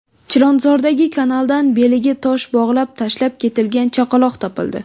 Chilonzordagi kanaldan beliga tosh bog‘lab tashlab ketilgan chaqaloq topildi.